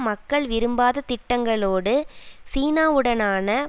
மக்கள் விரும்பாத திட்டங்களோடு சீனாவுடனான